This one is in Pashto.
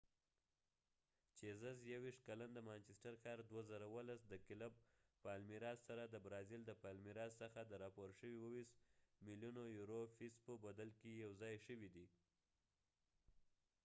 چېزس یوېشت کلن د مانچسټر ښار2017 سره د برازیل د پالمیراسpalmiras د کلب څخه د راپور شوي 27 ملیونو یورو فیس په بدل کې یو ځای شوي دي